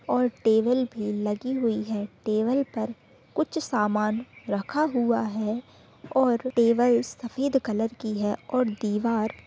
और टेबल भी लगी हुई है टेबल पर कुछ सामान रखा हुआ है और टेबल सफेद कलर की है और दीवार--